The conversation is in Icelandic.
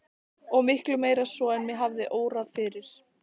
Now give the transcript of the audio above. Og miklu meira svo en mig hafði órað fyrir.